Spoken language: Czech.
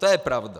To je pravda.